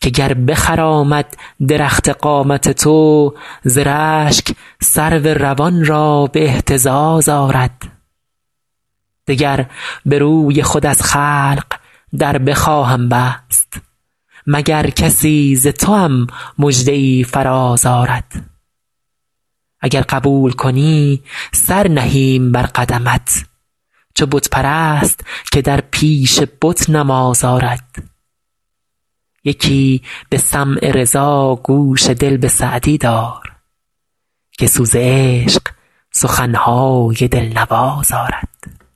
که گر بخرامد درخت قامت تو ز رشک سرو روان را به اهتزاز آرد دگر به روی خود از خلق در بخواهم بست مگر کسی ز توام مژده ای فراز آرد اگر قبول کنی سر نهیم بر قدمت چو بت پرست که در پیش بت نماز آرد یکی به سمع رضا گوش دل به سعدی دار که سوز عشق سخن های دل نواز آرد